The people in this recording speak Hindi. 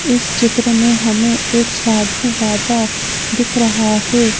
इस चित्र में हमें एक साधु बाबा दिख रहा है।